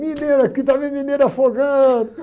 Mineiro aqui, está vendo mineiro afogando.